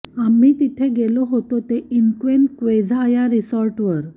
आम्ही तिथे गेलो होतो ते इन्क्वेन्क्वेझा या रिसॉर्टवर